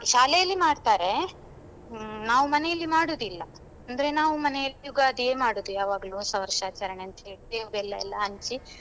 ಶಾಲೆಯಲ್ಲಿ ಮಾಡ್ತಾರೆ ಹ್ಮ್ ನಾವು ಮನೆಯಲ್ಲಿ ಮಾಡುದಿಲ್ಲ ಅಂದ್ರೆ ನಾವು ಮನೆಯಲ್ಲಿ ಯುಗಾದಿಯೇ ಮಾಡುದು ಯಾವಾಗ್ಲು ಹೊಸವರ್ಷ ಆಚರಣೆ ಅಂತ ಹೇಳಿ ಬೇವು ಬೆಲ್ಲ ಎಲ್ಲ ಹಂಚಿ.